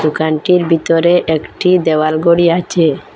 দোকানটির বিতরে একটি দেওয়াল গড়ি আছে।